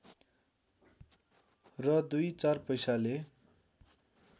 र दुई चार पैसाले